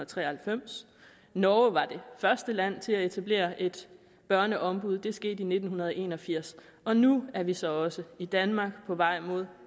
tre og halvfems norge var det første land til at etablere et børneombud det skete i nitten en og firs og nu er vi så også i danmark på vej mod